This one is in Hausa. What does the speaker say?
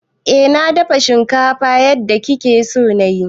Eh na dafa shinkafan yadda kike so na yi.